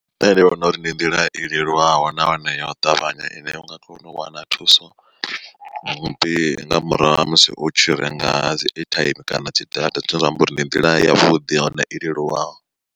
Nṋe ndi vhona uri ndi nḓila i leluwaho nahone ya u ṱavhanya ine u nga kona u wana thuso, ndi nga murahu ha musi u tshi renga dzi airtime kana dzi data zwine zwa amba uri ndi nḓila ya vhuḓi nahone i leluwaho.